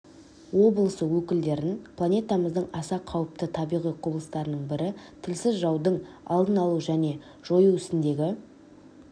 облысы өкілдерін планетамыздың аса қауіпті табиғи құбылыстарының бірі тілсіз жаудың алдын алу мен жою ісіндегі